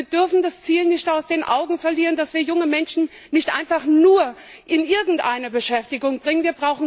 Wir dürfen das Ziel nicht aus den Augen verlieren, dass wir junge Menschen nicht einfach nur in irgendeine Beschäftigung bringen.